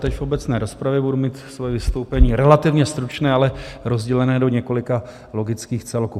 Teď v obecné rozpravě budu mít svoje vystoupení relativně stručné, ale rozdělené do několika logických celků.